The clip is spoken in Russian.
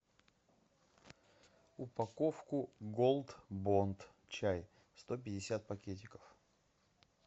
упаковку голд бонд чай сто пятьдесят пакетиков